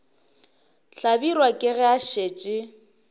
hlabirwa ke ge a šetše